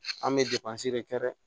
An bɛ de kɛ dɛ